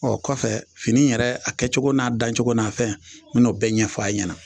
Ɔ kɔfɛ fini yɛrɛ a kɛcogo n'a dancogo n'a fɛn n bɛn'o bɛɛ ɲɛfɔ a' ɲɛna